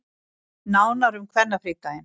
Nánar um kvennafrídaginn